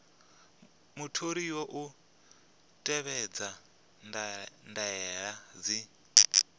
mutholiwa u tevhedza ndaela dzi